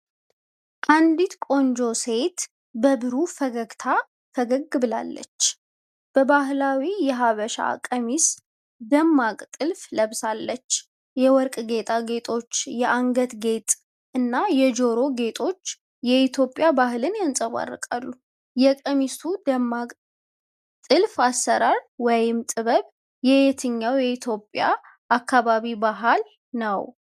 አንዲት ቆንጆ ሴት በብሩህ ፈገግታ ፈገግ ብላለች። በባህላዊ የሐበሻ ቀሚስ ደማቅ ጥልፍ ለብሳለች። የወርቅ ጌጣጌጦች፣ የአንገት ጌጥ እና የጆሮ ጌጦች የኢትዮጵያን ባህል ያንጸባርቃሉ። የቀሚሱ ደማቅ ጥልፍ አሠራር (ጥበብ) የየትኛው የኢትዮጵያ አካባቢ ባሕል ነው?